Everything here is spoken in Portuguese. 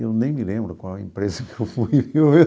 Eu nem me lembro qual a empresa que eu fui.